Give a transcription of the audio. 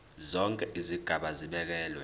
zonke izigaba zibekelwe